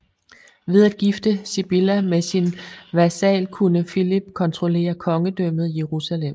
Ved at gifte Sibylla med sin vasal kunne Philip kontrollere Kongedømmet Jerusalem